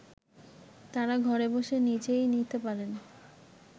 তারা ঘরে বসে নিজেই নিতে পারেন